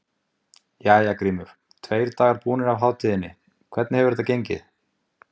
Hjörtur: Jæja Grímur, tveir dagar búnir af hátíðinni, hvernig hefur þetta gengið?